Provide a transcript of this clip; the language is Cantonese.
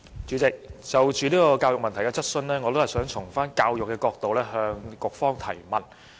主席，就教育問題，我想從教育的角度，向局方提問。